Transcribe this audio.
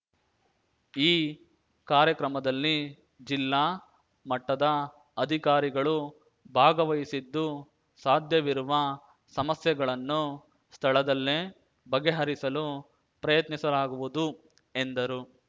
ಈ ಕಾರ್ಯಕ್ರಮದಲ್ಲಿ ಜಿಲ್ಲಾ ಮಟ್ಟದ ಅಧಿಕಾರಿಗಳು ಭಾಗವಹಿಸಿದ್ದು ಸಾಧ್ಯವಿರುವ ಸಮಸ್ಯೆಗಳನ್ನು ಸ್ಥಳದಲ್ಲೇ ಬಗೆಹರಿಸಲು ಪ್ರಯತ್ನಿಸಲಾಗುವುದು ಎಂದರು